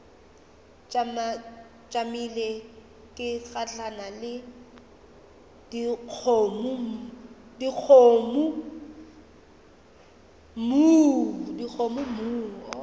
tšamile ke gahlana le dikgomommuu